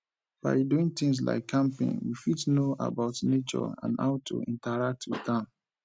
by doing things like camping we fit know about nature and how to interact with am